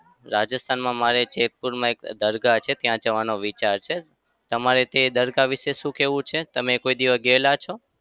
રાજસ્થાનમાં મારે જેતપુરમાં એક દરગાહ છે ત્યાં જવાનો વિચાર છે. તમારે તે દરગાહ વિશે શું કેવું છે? તમે કોઈ દિવસ ગેલા છો?